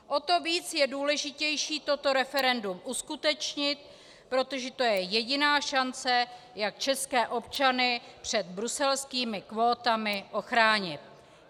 O to víc je důležité toto referendum uskutečnit, protože to je jediná šance, jak české občany před bruselskými kvótami ochránit.